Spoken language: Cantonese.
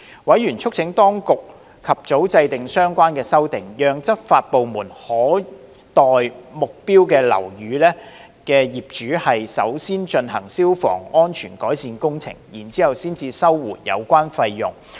委員促請當局及早制訂相關的修訂，讓執法部門可代目標樓宇業主先進行消防改善工程，然後收回有關費用。